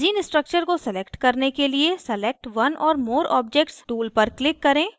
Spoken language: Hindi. benzene structure को select करने के लिए select one or more objects tool पर click करें